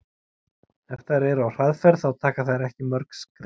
Ef þær eru á hraðferð þá taka þær ekki mörg skref.